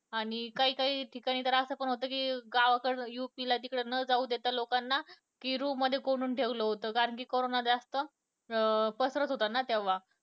आणि काही काही ठिकाणी तरअसं हि होतं कि गावाकडं UP ला न जाऊ देता लोकांना एका room मध्ये कोंडून ठेवलं होतं कारण कि करोना जास्त अं पसरत होता ना तेव्हा